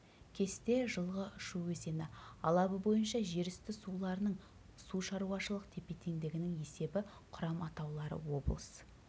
кесте жылғы шу өзені алабы бойынша жер үсті суларының су шаруашылық тепе-теңдігінің есебі құрам атаулары облыс